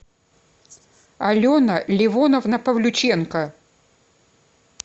алена ливоновна павлюченко